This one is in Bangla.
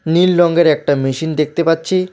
নীল রংয়ের একটা মেশিন দেখতে পাচ্ছি।